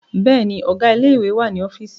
Bẹ́ẹ̀ni, Ọ̀gá ilé ìwé wà ní ọ́fíìsì